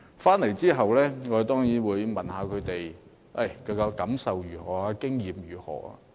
回來後，我問他們有甚麼感受，經驗如何。